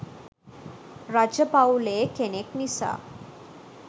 රජ පවුලේ කෙනෙක් නිසා